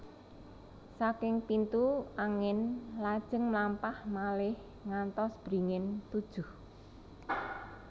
Saking pintu angin lajeng mlampah malih ngantos beringin tujuh